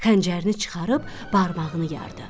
Xəncərini çıxarıb barmağını yardı.